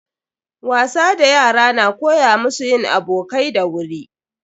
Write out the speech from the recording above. Wasa da yara na koya musu yin abokai da wuri.